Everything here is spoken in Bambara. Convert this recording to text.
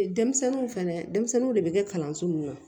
Denmisɛnninw fɛnɛ denmisɛnninw de be kɛ kalanso min na